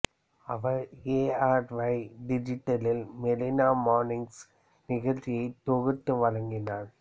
our A R Y டிஜிட்டலில் Marina mornings நிகழ்ச்சியை தொகுத்து வழங்கினார்